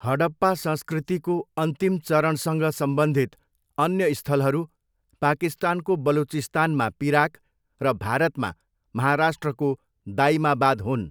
हडप्पा संस्कृतिको अन्तिम चरणसँग सम्बन्धित अन्य स्थलहरू पाकिस्तानको बलुचिस्तानमा पिराक र भारतमा महाराष्ट्रको दाइमाबाद हुन्।